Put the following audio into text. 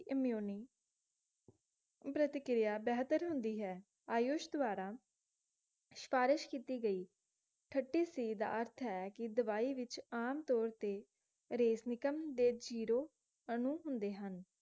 immune ਪ੍ਰਤੀਕਿਰਿਆ ਬੇਹਤਰ ਹੁੰਦੀ ਹੈ ਆਯੂਸ਼ ਦੁਆਰਾ ਸਿਫਾਰਿਸ਼ ਕਿੱਤੀ ਗਈ thirty C ਦਾ ਅਰਥ ਹੈ ਕਿ ਦਵਾਈ ਵਿਚ ਆਮਤੌਰ ਤੇ ਦੇ ਜ਼ੀਰੋ ਅਨੁ ਹੁੰਦੇ ਹਨ